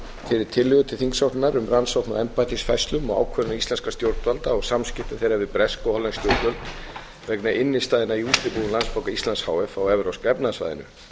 fyrir tillögu til þingsályktunar um rannsókn á embættisfærslum og ákvörðunum íslenskra stjórnvalda og samskiptum þeirra við bresk og hollensk stjórnvöld vegna innstæðna í útibúum landsbanka íslands h f á evrópska efnahagssvæðinu